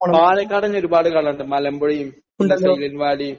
പാലക്കാട് ഉണ്ട്. മലമ്പുഴ. പിന്നെ silent Valley.